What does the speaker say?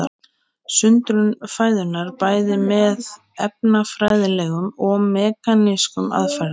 Sundrun fæðunnar bæði með efnafræðilegum og mekanískum aðferðum.